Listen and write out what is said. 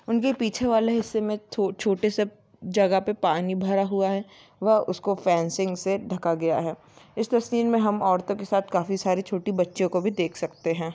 उनके पीछे वाले हिस्से मे छो छोटे से जगह मे पानी भरा हुआ है। वह उसका फ़ैन्सिंग से ढका गया है इस तस्वीर मे हम औरतों के साथ काफी सारी छोटी बच्चियों को भी देख सकते है।